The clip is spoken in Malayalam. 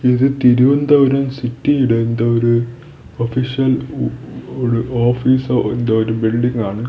ഇത് തിരുവനന്തപുരം സിറ്റിയുടെ എന്തോ ഒരു ഒഫീഷ്യൽ ഒ ഉ ഓഫീസ് എന്തോ ഒരു ബിൽഡിംഗ് ആണ്.